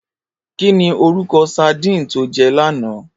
Kini órúkò sàdín tó jè làná?